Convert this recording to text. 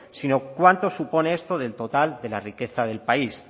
sino cuánto supone esto del total de la riqueza del país